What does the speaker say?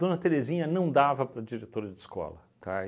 Dona Terezinha não dava para diretora de escola, tá?